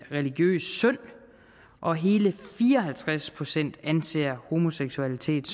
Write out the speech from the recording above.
religiøs synd og hele fire og halvtreds procent anser homoseksualitet